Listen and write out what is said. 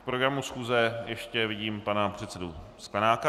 K programu schůze ještě vidím pana předsedu Sklenáka.